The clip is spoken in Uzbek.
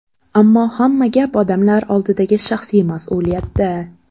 Ammo hamma gap odamlar oldidagi shaxsiy mas’uliyatda.